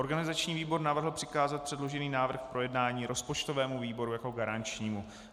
Organizační výbor navrhl přikázat předložený návrh k projednání rozpočtovému výboru jako garančnímu.